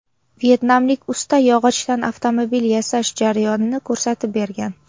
Vyetnamlik usta yog‘ochdan avtomobil yasash jarayonini ko‘rsatib bergan.